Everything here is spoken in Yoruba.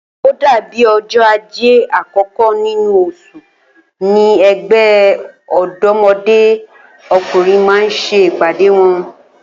Ó dàbí o̩jó̩ Ajé àkó̩kó̩ nínú os̩ù ni e̩gbé̩ Ò̩dó̩mo̩dé O̩kùnrin máa ń s̩e ìpàdé wo̩n